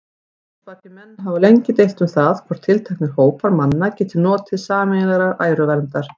Lögspakir menn hafa lengi deilt um það, hvort tilteknir hópar manna geti notið sameiginlegrar æruverndar.